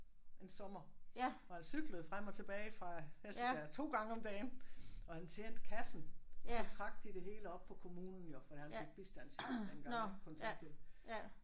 En sommer hvor han cyklede frem og tilbage fra Hesselbjerg 2 gange om dagen og han tjente kassen og så trak de det hele oppe på kommunen jo fordi han fik bistandshjælp dengang ik kontanthjælp